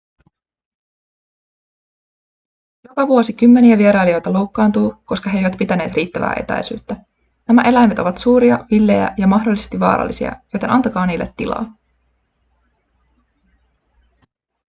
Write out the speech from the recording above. joka vuosi kymmeniä vierailijoita loukkaantuu koska he eivät pitäneet riittävää etäisyyttä nämä eläimet ovat suuria villejä ja mahdollisesti vaarallisia joten antakaa niille tilaa